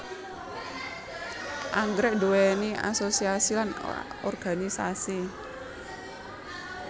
Anggrèk nduwéni asosiasi lan organisasi